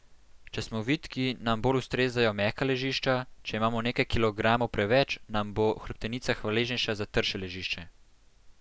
Če smo vitki, nam bolj ustrezajo mehka ležišča, če imamo nekaj kilogramov preveč, nam bo hrbtenica hvaležnejša za trše ležišče.